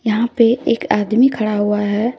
यहां पे एक आदमी खड़ा हुआ है।